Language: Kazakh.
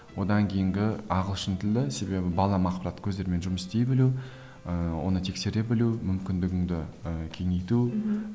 одан кейінгі ағылшын тілі себебі көздерімен жұмыс істей білу ііі оны тексере білу мүмкіндігіңді ііі кеңейту мхм